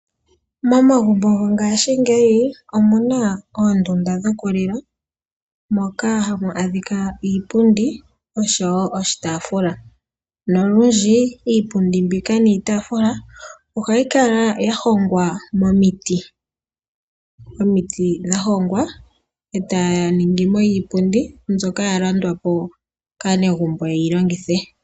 Momagumbo gongashingeyi omu na oondunda dhokulila moka hamu adhika iipundi oshowo oshitaafula. Olundji iipundi niitaafula mbika ohayi kala ya hongwa momiti, ndhoka hadhi hongwa etamu zi iipundi niitaafula mbyoka ya landwa po kaanegumbo opo ye yi longithe.